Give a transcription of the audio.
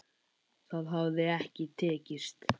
Það hafi ekki tekist.